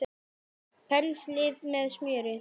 Penslið með smjöri.